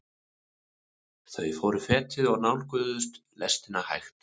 Þau fóru fetið og nálguðust lestina hægt.